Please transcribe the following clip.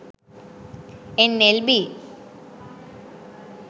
nlb